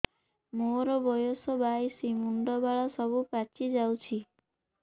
ମୋର ବୟସ ବାଇଶି ମୁଣ୍ଡ ବାଳ ସବୁ ପାଛି ଯାଉଛି